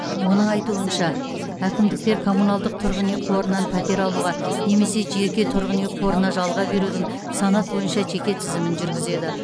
оның айтуынша әкімдіктер коммуналдық тұрғын үй қорынан пәтер алуға немесе жеке тұрғын үй қорына жалға берудің санат бойынша жеке тізімін жүргізеді